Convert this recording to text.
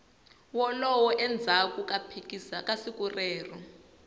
wolow endzhaku ka siku leri